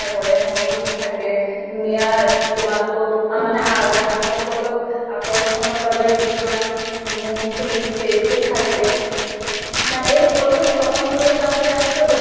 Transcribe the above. কৰে, সংগীত থাকে, ধুনীয়া তোমালোকক আ মানে গ্ৰাহক সকলক আকৰ্ষ্নৰ বাবে কিছুমান মূৰ্তি statue থাকে । এই সকলোবোৰ স্থাপন কৰিব যাওঁতে তেওঁলোকে